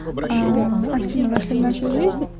аа активно вошли в нашу жизнь